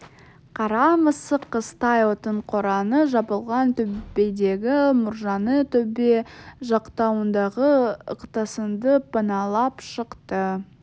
қара мысық қыстай отын қораны жабылған төбедегі мұржаны төбе жақтауындағы ықтасынды паналап шықты